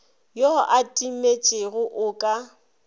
yo a timetšego o ka